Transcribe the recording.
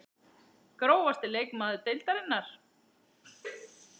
Grófasti leikmaður deildarinnar?